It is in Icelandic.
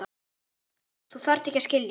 Þú þarft ekki að skilja.